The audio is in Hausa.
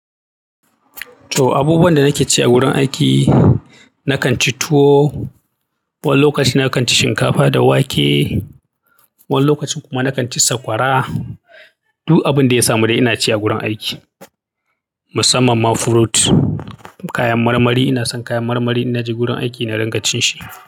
So abubuwan da nake ci a wurin aiki nakanci tuwo, wani lokacin nakanci shinkafa da wake, wani lokacin kuma nakanci sakwara. Duk abunda ya samude inaci a wurin aiki. Musamman ma fruit, kayan marmari ina son kayan marmari in naje gurin aiki na dinga cin shi.